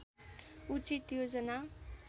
उचित योजना